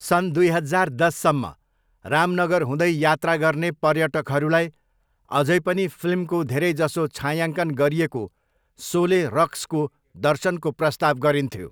सन् दुई हजार दससम्म, रामनगर हुँदै यात्रा गर्ने पर्यटकहरूलाई अझै पनि फिल्मको धेरैजसो छायाङ्कन गरिएको 'सोले रक्स'को दर्शनको प्रस्ताव गरिन्थ्यो।